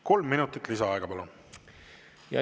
Kolm minutit lisaaega, palun!